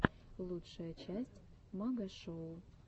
лучшая часть магашоу